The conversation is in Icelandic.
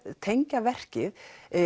tengja verkið